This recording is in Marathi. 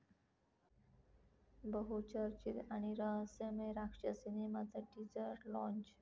बहुचर्चित आणि रहस्यमय राक्षस सिनेमाचं टीजर लाँच!